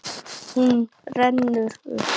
Hún rennur upp.